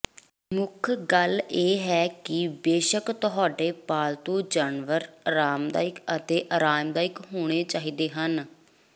ਮੁੱਖ ਗੱਲ ਇਹ ਹੈ ਕਿ ਬੇਸ਼ੱਕ ਤੁਹਾਡੇ ਪਾਲਤੂ ਜਾਨਵਰ ਆਰਾਮਦਾਇਕ ਅਤੇ ਆਰਾਮਦਾਇਕ ਹੋਣੇ ਚਾਹੀਦੇ ਹਨ